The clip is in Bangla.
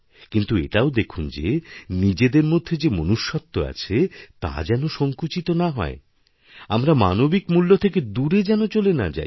কিন্তু এটাও দেখুন যে নিজেদের মধ্যে যেমনুষ্যত্ব আছে তা যেন সঙ্কুচিত না হয় আমরা মানবিক মূল্য থেকে দূরে যেন চলে নাযাই